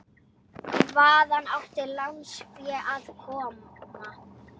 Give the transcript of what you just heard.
Byrjar að þekja það kossum.